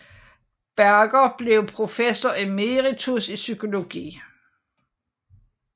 Berger blev professor emeritus i psykologi